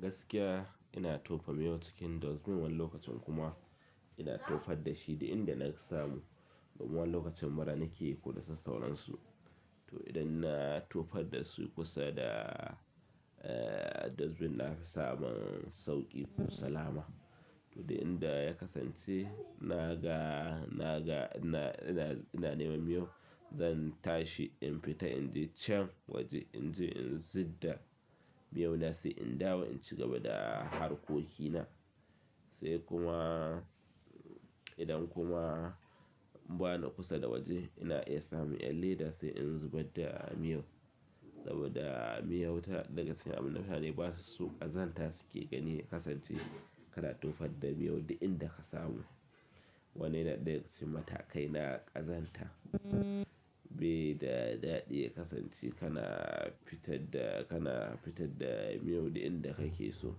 Gaskiya ina tofa miyau cikin dustbin wani lokacin kuma ina tofar da shi duk inda na samu. Wani lokacin mara nike ko da sassauransu. To idan na tofar da su kusa da, eh, dustbin na fi samun sauƙi ko salama. To duk inda ya kasance na ga, na ga ina, ina, ina nema miyau zan tashi in fita in je can waje in je in zidda miyau na sai in dawo in ci gaba da harkoki na. Sai kuma idan kuma bani kusa da waje ina iya samun ƴar leda sai in zubar da miyau saboda miyau ta, daga cikin abu mutane ba su so ƙazanta suke gani ya kasance kana tofar da miyau duk inda ka samu. Wannan yana ɗaya daga cikin matakai na ƙazanta. Bai da daɗi ya kasance kana fitad da, kana fitar da miyau duk inda kake so.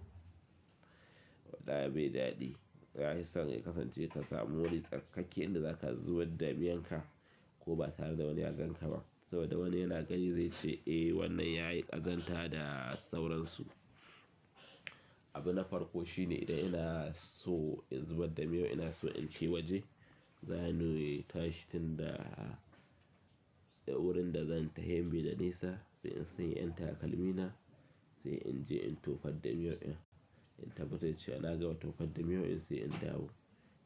Wallai bai daɗi. Ya fi son ya kasance ka samu wuri tsarkakakke inda za ka zubar da miyan ka ko ba tare da wani ya gan ka ba. Saboda wani yana gani zai ce, "Eh wannan yayi ƙazanta da sauransu." abu na farko shine idan inaso in zubar da miyau inaso in tai waje. Zani in tashi tun da wurin da zan tahi bai da nisa sai in sanya ƴan takalmi na sai in je in tofad da miyau ɗin, in tabbatar cewa na gama tofar da miyau ɗin sai in dawo.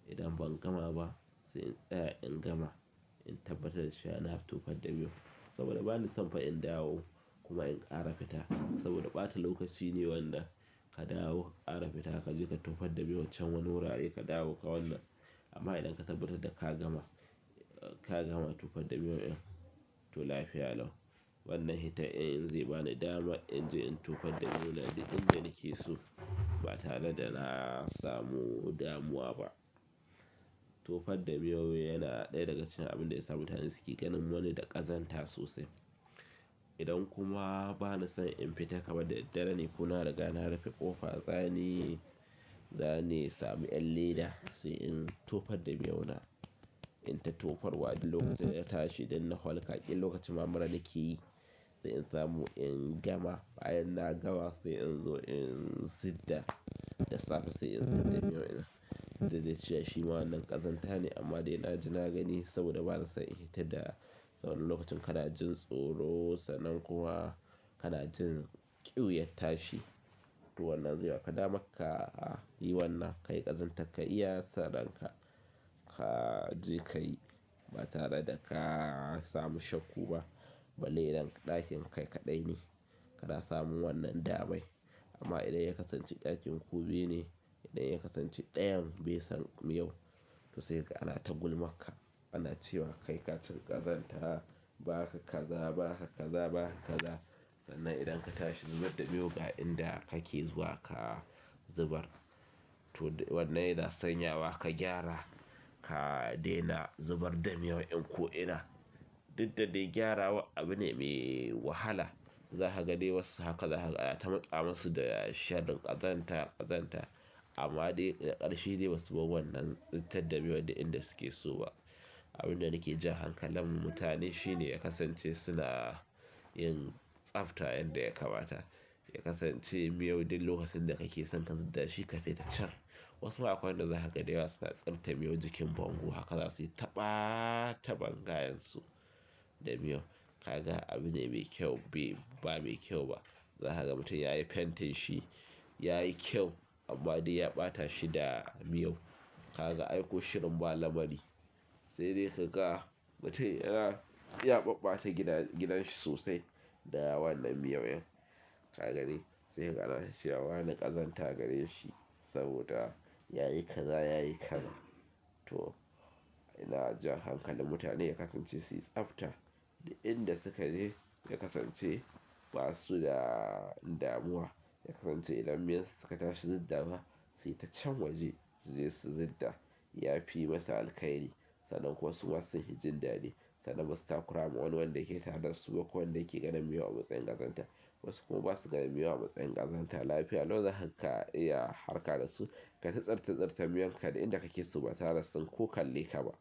Idan ban gama ba sai in tsaya in gama in tabbatar da cewa na tofar da miyau. Saboda bani son fa in dawo kuma in ƙara fita. Saboda ɓata lokaci ne wannan ka dawo ka ƙara fita kaje ka tofad da miyau can wani wurare ka dawo ka wannan. Amma idan ka tabbatar da ka gama, ka gama tofad da miyau ɗin to lafiya lau. Wannan hitan in in zai bani dama in je in tofar da miyau na duk inda nake so ba tare da na samu damuwa ba. Tofad da miyau yana ɗaya daga cikin abin da ya sa mutane suke ganin wani da ƙazanta sosai. Idan kuma ba na son in fita kamar da daddare ne ko na riga na rufe ƙofa, zani, zani sami ƴan leda sai in tofad da miyau na. In ta tofarwa duk lokacin da na tashi idan na hwalka ƙila lokacin mura nikeyi sai in samu in gama. Bayan na gama sai in zo in zidda da safe sai in zidda miyau ɗin duk da dai shima wannan ƙazanta ne amma dai na ji na gani saboda ba na son in yi hitan da. Saboda lokacin kana jin tsoro, sannan kuma kana jin ƙiuyar tashi. To wannan zai baka dama ka yi wannan, ka yi ƙazanta ka iya sa ran ka, ka je ka yi ba tare da ka samu shakku ba. Balle idan ɗakin kai kaɗai ne kana samun wannan damai. Amma idan ya kasance ɗakin ku biyu ne, idan ya kasance ɗayan bai san miyau to sai kaga ana ta gulmarka. Ana cewa kai ka cika ƙazanta, baka kaza, baka kaza. Sannan idan ka tashi zubar da miyo ga inda kake zuwa ka zubar. To wannan yana sanyawa ka gyara ka daina zubar da miyau ɗin ko ina duk da dai gyarawar abu ne mai wahala. Za ka ga dai wasu haka za ka, ana ta matsa masu da sharrin ƙazanta, ƙazanta. Amma dai ƙarshe dai basu bar wannan tsittar da miyau da inda suke so ba. Abin da nake jan hankalin mu mutane shine ya kasance suna yin tsafta yanda ya kamata. Ya kasance miyau duk lokacin da kake son ka zidda shi ka tai can. Wasu akwai wanda za ka ga da yawa suna tsurta miyau jikin bango haka za su yi ta ɓata bangayen su da miyau. Ka ga abu ne mai kyau, ba mai kyau ba. Za ka ga mutum yayi fentin shi, yayi kyau amma dai ya ɓata shi da miyau. Ka ga aiko shirin ba lamari. Sai dai ka ga mutum yana, ya ɓaɓɓata gidan, gidan shi sosai da wannan miyau in ka gani sai kaga ana ta cewa wane ƙazanta ke gareshi saboda yayi kaza yayi kaza. To ina jan hankalin mutane ya kasance su yi tsafta da inda su ka je. Ya kasance ba su da damuwa. Ya kasance idan miyan su suka tashi su ziddawa su fita can waje suje su zidda. Ya fi yi masa alkhairi. Sannan kuma suma sun fi jin daɗi, sannan basu takurama. Wani wanda ke tare da su ko wanda yake ganin miyau a matsayin ƙazanta. Wasu kuma ba su ganin miyau a matsayin ƙazanta. Lafiya lau za ka iya harka da su. Kai ta tsirtse tsirte miyon ka duk inda kake so ba tare da sun ko kalle ka ba.